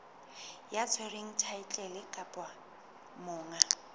ya tshwereng thaetlele kapa monga